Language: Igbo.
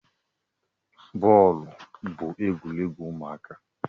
Bọọlụ bụ egwuregwu ụmụaka